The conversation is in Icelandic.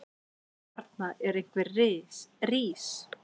Stjarna einhvers rís